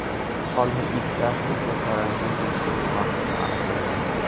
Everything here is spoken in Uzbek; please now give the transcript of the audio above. Qolgan ikkitasi esa karantin tekshiruvi vaqtida aniqlangan.